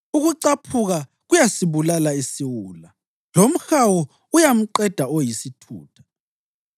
Ukucaphuka kuyasibulala isiwula lomhawu uyamqeda oyisithutha.